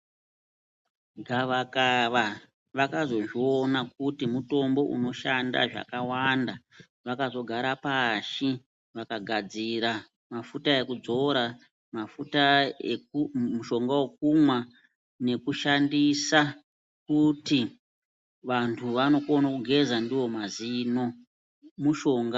Gavakava vakazozviona kuti mutombo unoshanda zvakawanda. Vakazogara pashi vakagadzira mafuta ekudzora, mafuta eku, mushonga wekumwa nekushandisa kuti vantu anokona kugeza ndiwo mazino. Mushonga